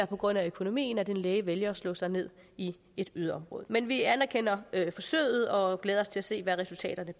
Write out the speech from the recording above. på grund af økonomien at en læge vælger at slå sig ned i et yderområde men vi anerkender forsøget og glæder os til at se hvad resultaterne